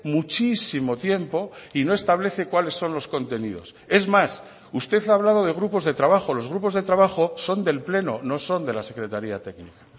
muchísimo tiempo y no establece cuáles son los contenidos es más usted ha hablado de grupos de trabajo los grupos de trabajo son del pleno no son de la secretaría técnica